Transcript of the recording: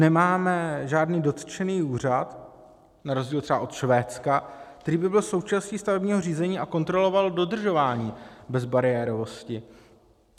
Nemáme žádný dotčený úřad na rozdíl třeba od Švédska, který by byl součástí stavebního řízení a kontroloval dodržování bezbariérovosti.